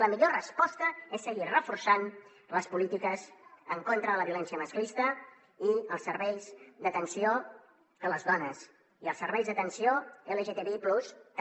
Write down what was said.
la millor resposta és seguir reforçant les polítiques en contra de la violència masclista i els serveis d’atenció a les dones i els serveis d’atenció lgtbi+ també